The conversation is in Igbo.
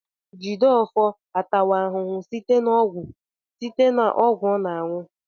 Jideofor atawo ahụhụ site na ọgwụ site na ọgwụ ọ na-aṅụ